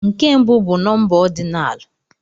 Nke mbụ bụ nọmba ọdinalu